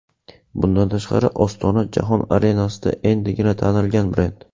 Bundan tashqari, Ostona jahon arenasida endigina tanilgan brend.